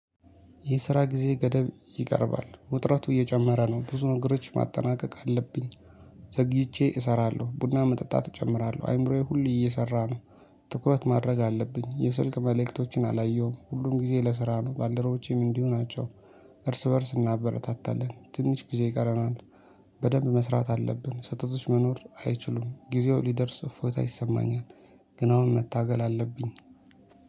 የስራ ጊዜ ገደብ ይቀርባል ውጥረቱ እየጨመረ ነው ብዙ ነገሮች ማጠናቀቅ አለብኝ። ዘግይቼ እሰራለሁ ቡና መጠጣት ጀምራለሁ አይምሮዬ ሁሌ እየሰራ ነው። ትኩረት ማድረግ አለብኝ የስልክ መልእክቶችን አላየሁም ሁሉም ጊዜ ለስራ ነው ባልደረቦቼም እንዲሁ ናቸው። እርስ በእርስ እናበረታታለን ትንሽ ጊዜ ይቀረናል። በደንብ መስራት አለብን ሰህተቶች መኖር አይችሉም ጊዜው ሊደርስ እፎይታ ይሰማኛል። ግን አሁን መታገል አለብኝ